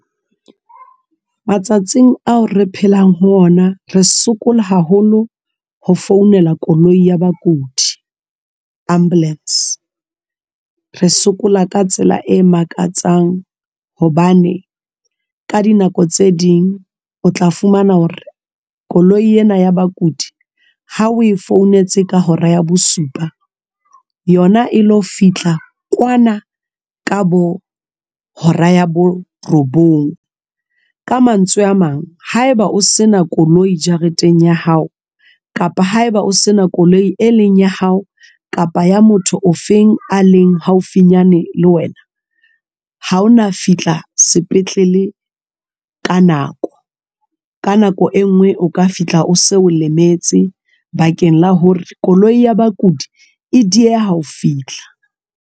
Matsatsing ao re phelang ho ona re sokola haholo ho founela koloi ya bakudi ambulance re sokola ka tsela e makatsang hobane ka dinako tse ding o tla fumana hore koloi ena ya bakudi ha o e founetse ka hora ya bosupa yona e lo fihla kwana ka bo hora ya bo robong. Ka mantswe a mang hae ba o se na koloi jareteng ya hao, kapa hae ba o se na koloi e leng ya hao kapa ya motho o feng a leng haufinyane le wena ha ona fihla sepetlele ka nako. Ka nako e nngwe o ka fihla o se o lemetse bakeng la hore koloi ya bakudi dieha ho fihla.